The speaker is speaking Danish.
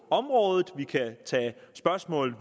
området vi kan tage spørgsmål